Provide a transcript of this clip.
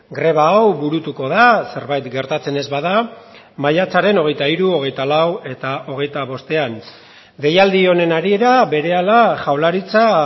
greba hau burutuko da zerbait gertatzen ez bada maiatzaren hogeita hiru hogeita lau eta hogeita bostean deialdi honen harira berehala jaurlaritza